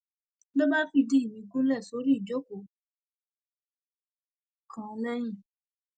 ló bá fìdí mi gúnlẹ sórí ìjókòó kan lẹyìn